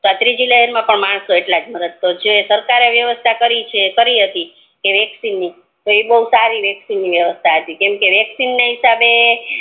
તો આ ત્રીજી લહેર મા પણ માણસો એટલાજ મરત તો આ સરકારે વ્યવસ્થા કરી છે કરી હતી વેક્સિન ની તો ઈ બૌ સારી હતી કેમકે વેક્સિન ના હિસાબે